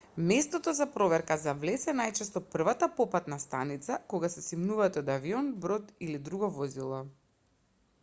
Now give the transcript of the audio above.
местото за проверка за влез е најчесто првата попатна станица кога се симнувате од авион брод или друго возило